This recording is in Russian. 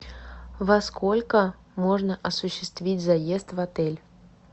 во сколько можно осуществить заезд в отель